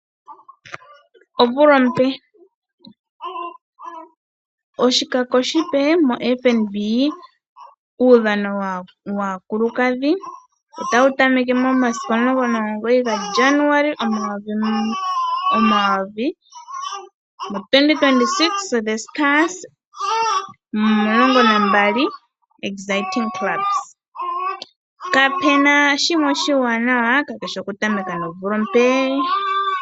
Omvula ompe Oshikako oshipe moFNB, uudhano waakulukadhi otawu tameke momasiku 19 Januali 2026. Aakuthimbinga odho oongundu dhomaudhano dhi li omulongo nambali. Kapu na omukalo omuwanawa okutameka nomvula ompe.